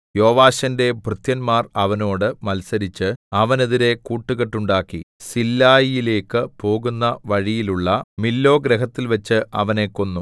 യോവാശിന്റെ ഭൃത്യന്മാർ അവനോട് മത്സരിച്ച് അവനെതിരെ കൂട്ടുകെട്ടുണ്ടാക്കി സില്ലായിലേക്കു പോകുന്ന വഴിയിലുള്ള മില്ലോ ഗൃഹത്തിൽവെച്ച് അവനെ കൊന്നു